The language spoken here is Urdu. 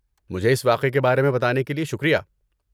مجھے اس واقعے کے بارے میں بتانے کے لیے شکریہ۔